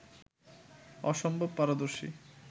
অসম্ভব পারদর্শী